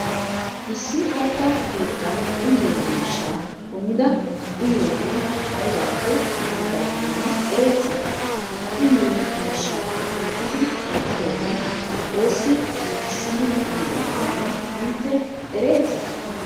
issi kattaa keettaan uyyiyo miishshaa kumida uyyiyogee aybappe giggidakkonne ereeti? ha uyyiyo mishshaa kunttidi wotidogee ossi giggissidi ehidakkonne innte ereeti?